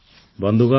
ବନ୍ଧୁଗଣ